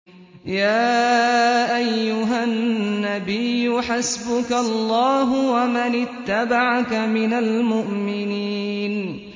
يَا أَيُّهَا النَّبِيُّ حَسْبُكَ اللَّهُ وَمَنِ اتَّبَعَكَ مِنَ الْمُؤْمِنِينَ